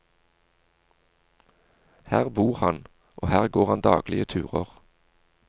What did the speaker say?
Her bor han, og her går han daglige turer.